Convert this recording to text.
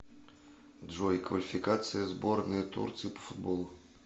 джой квалификация сборная турции по футболу